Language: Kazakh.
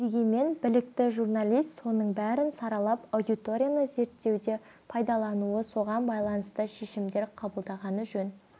дегенмен білікті журналист соның бәрін саралап аудиторияны зерттеуде пайдалануы соған байланысты шешімдер қабылдағаны жөн